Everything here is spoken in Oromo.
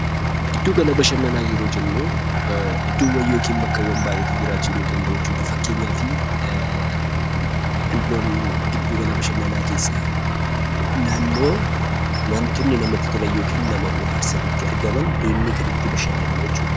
Gidduu gala bashannanaa yeroo jennuu idddoowwan yookiin bakkawwan hedduutu jiraachuu danda'a. Fakkeenyaaf giddu gala bashannanaa keessaa naannoo wantoonni namatti tolan yookiin nama bo'aarsan itti argaman deemnee kan itti bashannannu jechuu dha.